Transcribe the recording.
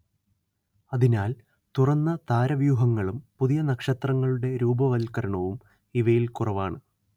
അതിനാൽ തുറന്ന താരവ്യൂഹങ്ങളും പുതിയ നക്ഷത്രങ്ങളുടെ രൂപവത്കരണവും ഇവയിൽ കുറവാണ്